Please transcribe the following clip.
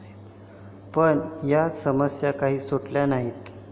पण या समस्या काही सुटल्या नाहीत.